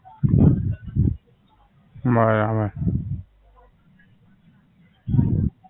બરાબર